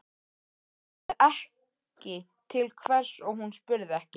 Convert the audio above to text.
Hann sagði ekki til hvers og hún spurði ekki.